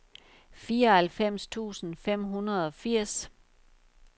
fireoghalvfems tusind fem hundrede og firs